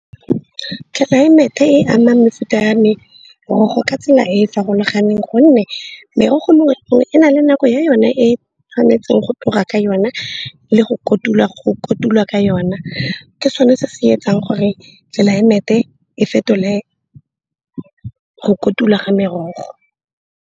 Climate e ama mefuta ya me morogo ka tsela e e farologaneng gonne merogo nngwe e na le nako ya yone e tshwanetseng go tloga ka yona le go kotula ka yona. Ke sone se se etsang gore tlelaemete e fetole go kotula ga merogo.